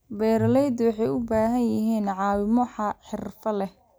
Beeraleydu waxay u baahan yihiin caawimo xirfad leh.